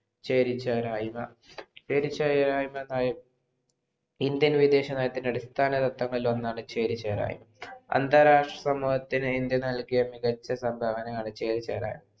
ചേരിചേരായ്മ ചെരിച്ചയായിമ ഇന്ത്യ വിദേശ നയത്തിൻ്റെ അടിസ്ഥാന ത്വത്തം ഇലോണം ചേരിചേരയിമാ അന്താരാഷ്ട്രതലത്തിൽ ഇന്ത്യ നൽകിയ മികച്ച സംഭവനമാണ് ചേരിചേരായ്മ